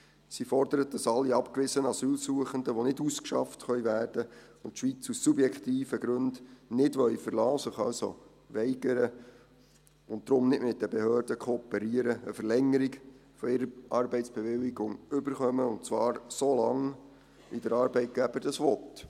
Sie fordert, dass alle abgewiesenen Asylsuchenden, die nicht ausgeschafft werden können und die Schweiz aus subjektiven Gründen nicht verlassen wollen – sie können sich also weigern – und deshalb nicht mit den Behörden kooperieren, eine Verlängerung ihrer Arbeitsbewilligung erhalten, und zwar so lange, wie der Arbeitgeber das möchte.